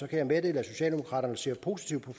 kan jeg meddele at socialdemokraterne ser positivt på